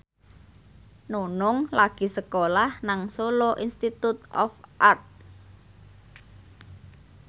Nunung lagi sekolah nang Solo Institute of Art